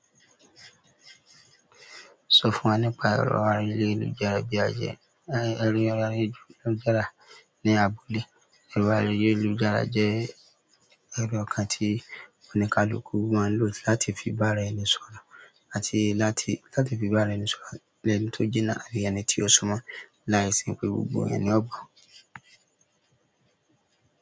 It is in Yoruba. Sọ fún wa nípa ẹrọ ayélujára bí a ṣe ẹrọ ayélujára ní abúlé. Ẹrọ ayélujára jẹ́ ẹ̀rọ kan tí oníkálukú máa ń lò láti fi bá ara ẹni sọ̀rọ̀ àti láti láti fi bá ara ẹni sọ̀rọ̀ lẹ́ni tó jìnà àbí ẹni tí ó súmọ́. Láìsí pé gbogbo èèyàn ni ọ gbọ̀ọ́